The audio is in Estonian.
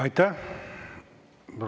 Aitäh!